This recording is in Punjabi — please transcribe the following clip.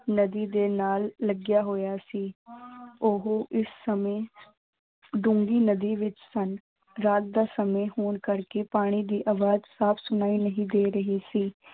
ਨਦੀ ਦੇ ਨਾਲ ਲੱਗਿਆ ਹੋਇਆ ਸੀ ਉਹ ਇਸ ਸਮੇਂ ਡੂੰਘੀ ਨਦੀ ਵਿੱਚ ਸਨ, ਰਾਤ ਦਾ ਸਮਾਂ ਹੋਣ ਕਰਕੇ ਪਾਣੀ ਦੀ ਆਵਾਜ਼ ਸਾਫ਼ ਸੁਣਾਈ ਨਹੀਂ ਦੇ ਰਹੀ ਸੀ।